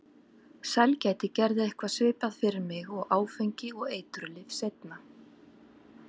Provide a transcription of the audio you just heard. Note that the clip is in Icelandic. Sælgæti gerði eitthvað svipað fyrir mig og áfengi og eiturlyf seinna.